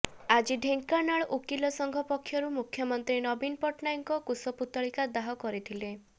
ଆଜି ଢେଙ୍କାନାଳ ଓକିଲ ସଂଘ ପକ୍ଷରୁ ମୁଖ୍ୟମନ୍ତ୍ରୀ ନବୀନ ପଟ୍ଟନାୟକଙ୍କ କୁଶପୁତ୍ତଳିକା ଦାହ କରିଥିଲେ